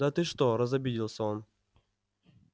да ты что разобиделся он